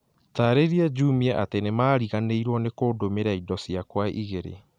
Taarĩria Jumia atĩ nĩmariganĩirwo nĩ kũndũmĩra indo ciakwa igĩrĩ